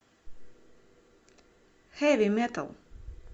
хэви метал